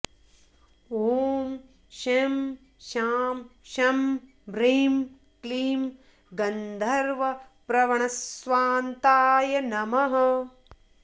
ॐ शं शां षं ह्रीं क्लीं गन्धर्वप्रवणस्वान्ताय नमः